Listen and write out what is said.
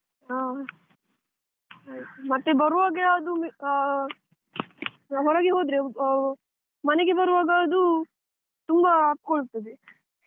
ಹ ಆಯ್ತು ಮತ್ತೆ ಬರುವಾಗ ಯಾವ್ದು ಅಹ್ ನಾವ್ ಹೊರಗೆ ಹೋದ್ರೆ ಆ ಮನೆಗೆ ಬರುವಾಗ ಅದು ತುಂಬಾ ಅಪ್ಕೊಳ್ತದೆ.